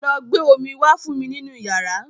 Lọ gbé omí wá fún mi nínú yàrá.